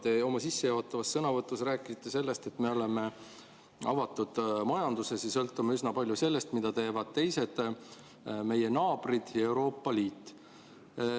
Te oma sissejuhatavas sõnavõtus rääkisite sellest, et me oleme avatud majandus ja sõltume üsna palju sellest, mida teevad teised, meie naabrid ja Euroopa Liit.